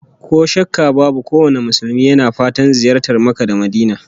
Ko shakka babu kowane Musulmi yana fatan ziyartar Makka da Madinah